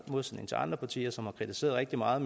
modsætning til andre partier som har kritiseret rigtig meget